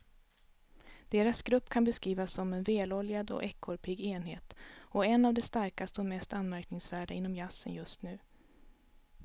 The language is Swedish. Deras grupp kan beskrivas som en väloljad och ekorrpigg enhet och en av de starkaste och mest anmärkningsvärda inom jazzen just nu.